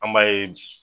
An b'a ye